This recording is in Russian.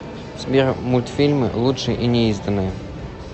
сбер мультфильмы лучшее и неизданное